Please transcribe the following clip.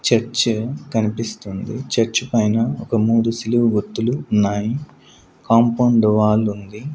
Church కనిపిస్తుంది church పైన ఒక మూడు సిలువు గుర్తులు ఉన్నాయి కాంపౌండ్ వాల్ ఉంది.